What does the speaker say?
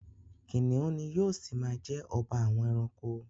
Kìnìún ni yóò ṣi ma jẹ́ ọba àwọn ẹranko.